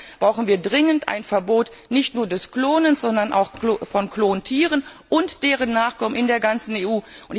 Deshalb brauchen wir dringend ein Verbot nicht nur des Klonens, sondern auch von Klontieren und deren Nachkommen in der ganzen